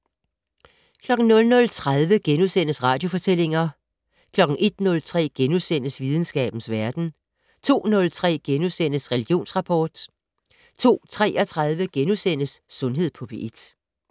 00:30: Radiofortællinger * 01:03: Videnskabens Verden * 02:03: Religionsrapport * 02:33: Sundhed på P1 *